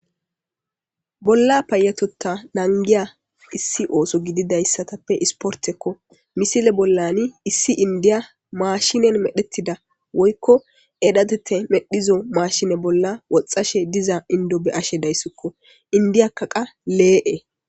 bolla payatota nangiya issi ooso gididayssatappe isportekko misile bollani issi indiya maashinen medhettida woykko edhatete medhizo maashine bolla woxxashe diza indo be ashe dayssikko indiyakka qa lee7e